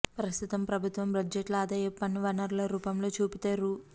ప్రస్తుతం ప్రభు త్వం బడ్జెట్లో ఆదాయపు పన్ను వనరుల రూపంలో చూపితే రూ